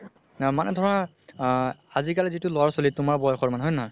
নাই আমাৰ ধৰা আ আজি কালি যিতো ল'ৰা ছোৱালি তোমাৰ বয়সৰ হয় নে নহয়